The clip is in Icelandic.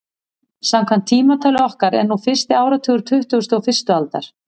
Samkvæmt tímatali okkar er núna fyrsti áratugur tuttugustu og fyrstu aldar.